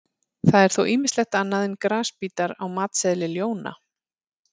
Það er þó ýmislegt annað en grasbítar á matseðli ljóna.